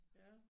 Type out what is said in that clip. Ja